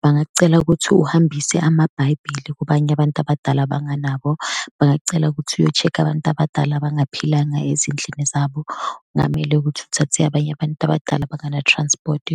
bangak'cela ukuthi uhambise amabhayibhili kubanye abantu abadala abangenabo, bangak'cela ukuthi uyo-check-a abantu abadala abangaphilanga ezindlini zabo. Kungamele ukuthi uthathe abanye abantu abadala abangana-transport